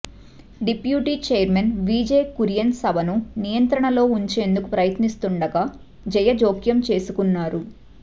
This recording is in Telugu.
డిప్యూటీ చైర్మన్ వీజే కురియన్ సభను నియంత్రణలో ఉంచేందుకు ప్రయత్నిస్తుండగా జయ జోక్యం చేసుకున్నారు